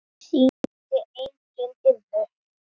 Sýndi enginn iðrun?